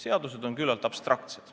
Seadused on küllalt abstraktsed.